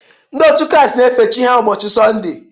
Ndị otu Kraịst na-efe Chi ha ụbochị Sọnde.